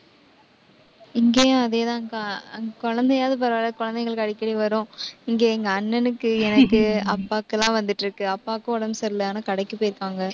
இங்கேயும், அதே தான்க்கா குழந்தையாவது பரவாயில்லை. குழந்தைங்களுக்கு அடிக்கடி வரும் இங்க எங்க அண்ணனுக்கு, எனக்கு, அப்பாக்கு எல்லாம் வந்துட்டிருக்கு. அப்பாவுக்கு உடம்பு சரியில்லை. ஆனா, கடைக்குப் போயிருக்காங்க.